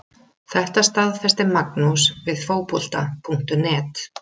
Þetta staðfesti Magnús við Fótbolta.net.